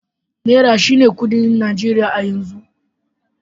Naira shine kuɗin Najeriya a yanzu.